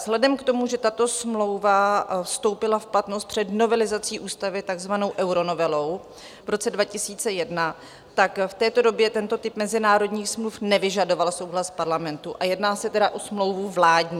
Vzhledem k tomu, že tato smlouva vstoupila v platnost před novelizací ústavy takzvanou euronovelou v roce 2001, tak v této době tento typ mezinárodních smluv nevyžadoval souhlas Parlamentu, a jedná se tedy o smlouvu vládní.